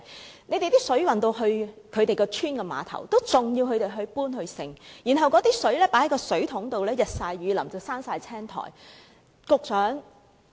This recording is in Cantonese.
我們看到，當水運到這些鄉村的碼頭後，村民仍要自行搬運，而載水的水桶經過日曬雨淋已長滿青苔。